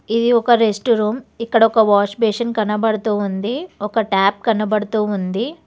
ఇది ఒక rest room ఇక్కడ ఒక వాష్బేసిన్ కనబడుతూ ఉంది ఒక టాప్ కనబడుతూ ఉంది.